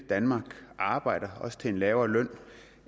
danmark og arbejder også til en lavere løn